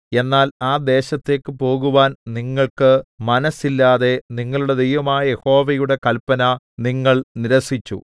എന്നാൽ ആ ദേശത്തേക്ക് പോകുവാൻ നിങ്ങൾക്ക് മനസ്സില്ലാതെ നിങ്ങളുടെ ദൈവമായ യഹോവയുടെ കല്പന നിങ്ങൾ നിരസിച്ചു